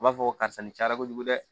U b'a fɔ karisa ni cayara kojugu dɛ